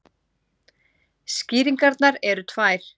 Skýringarnar eru tvær.